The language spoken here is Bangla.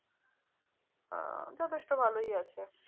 আহ যথেষ্ট ভালোই আছে।